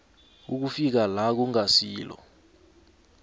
ukufika la kungasilo